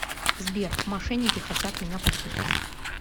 сбер мошенники хотят меня похитить